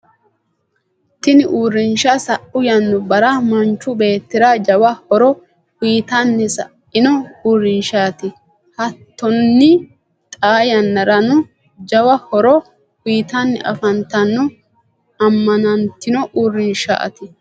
tini uurinsha sa'u yannubbara manchu beetira jawa horo uyitanni sa'ino uurrinshati. hatonni xaa yannarano jawa horo uyitanni afantanno. ammanantinno uurrinshati.